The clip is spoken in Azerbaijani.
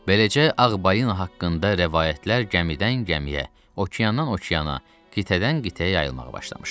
Beləcə ağ balina haqqında rəvayətlər gəmidən gəmiyə, okeandan okeana, qitədən qitəyə yayılmağa başlamışdı.